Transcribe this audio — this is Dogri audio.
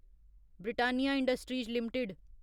Britannia industries limited